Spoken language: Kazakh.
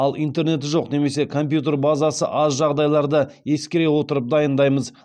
ал интернеті жоқ немесе компьютер базасы аз жағдайларды ескере отырып дайындаймыз